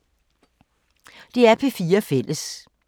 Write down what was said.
DR P4 Fælles